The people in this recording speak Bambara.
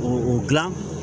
O gilan